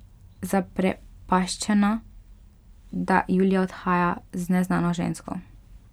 Zaprepaščena, da Julija odhaja z neznano žensko.